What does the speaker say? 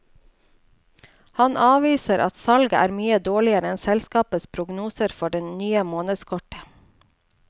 Han avviser at salget er mye dårligere enn selskapets prognoser for det nye månedskortet.